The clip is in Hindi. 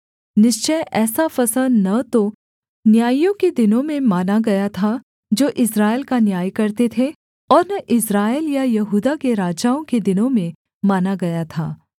निश्चय ऐसा फसह न तो न्यायियों के दिनों में माना गया था जो इस्राएल का न्याय करते थे और न इस्राएल या यहूदा के राजाओं के दिनों में माना गया था